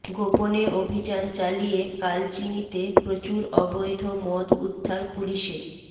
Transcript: গোপনে অভিযান চালিয়ে কালচিনিতে প্রচুর অবৈধ মদ উদ্ধার পুলিশের